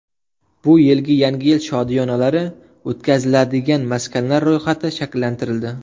Bu yilgi yangi yil shodiyonalari o‘tkaziladigan maskanlar ro‘yxati shakllantirildi.